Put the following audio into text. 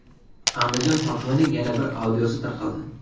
Andijon hokimining yana bir audiosi tarqaldi.